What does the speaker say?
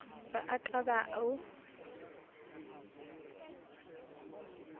ba a ka ba o